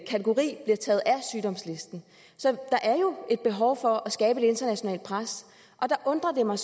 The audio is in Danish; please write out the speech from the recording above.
sygdomslisten så der er jo et behov for at skabe et internationalt pres og der undrer det mig